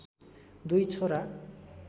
दुई छोरा